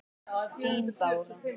Þín Bára.